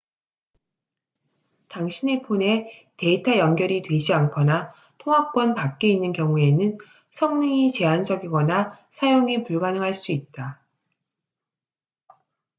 당신의 폰에 데이터 연결이 되지 않거나 통화권 밖에 있는 경우에는 성능이 제한적이거나 사용이 불가능할 수 있다